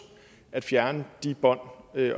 at fjerne de bånd